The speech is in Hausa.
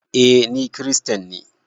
Eh, Ni kiristanne.